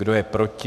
Kdo je proti?